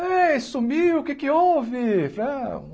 Aê, sumiu, o que é que houve? Ah